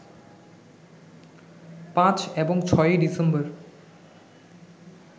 ৫ এবং ৬ই ডিসেম্বর